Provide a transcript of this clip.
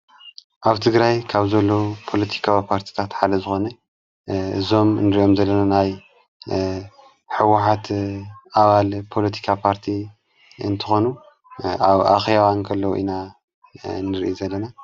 ኣብ ትግራይ ካብ ዘሎ ጶሎቲካዊ ጳርቲታተሓለ ዝኾን ዞም ንርዮም ዘለለናይ ሕዉኃት ኣዋል ጶሎቲካ ጳርቲ እንትኾኑ ኣብ ኣኽያዋ እንከሎዉ ኢና ንርኢ ዘለነ።